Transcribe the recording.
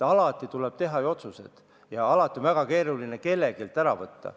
Alati tuleb teha ju otsuseid ja alati on väga keeruline kelleltki ära võtta.